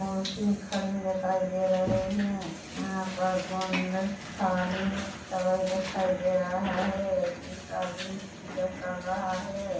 मूर्ति खड़ी दिखाई दे रहे है यहाँ पर गुंडस्थाली सभयी दिखाई दे रहा है एक आदमी पूजा कर रहा है।